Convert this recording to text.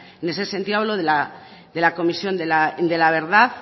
en ese sentido hablo de la comisión de la verdad